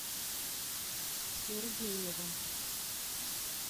сергеевым